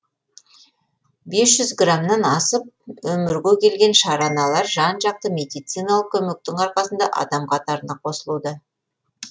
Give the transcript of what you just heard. бес жүз грамнан асып өмірге келген шараналар жан жақты медициналық көмектің арқасында адам қатарына қосылуда